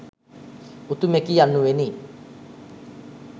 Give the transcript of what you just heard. උතුමෙකි යනුවෙනි.